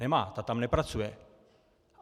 Nemá, ta tam nepracuje.